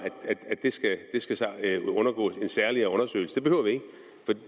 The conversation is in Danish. at det skal undergå en særlig undersøgelse